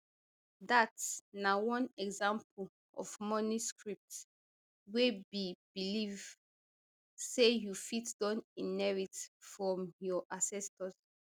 dat na one example of money script wey be belief say you fit don inherit from your ancestors